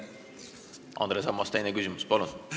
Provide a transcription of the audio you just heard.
Andres Ammas, teine küsimus, palun!